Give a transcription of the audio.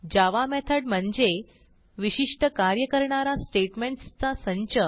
जावा method म्हणजे विशिष्ट कार्य करणारा स्टेटमेंटसचा संच